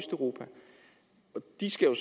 de skal jo